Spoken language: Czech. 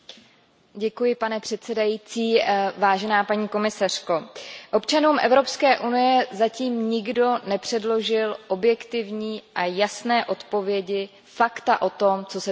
Pane předsedající, paní komisařko, občanům Evropské unie zatím nikdo nepředložil objektivní a jasné odpovědi, fakta o tom, co se přesně stalo.